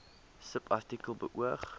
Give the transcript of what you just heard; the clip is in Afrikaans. subartikel beoog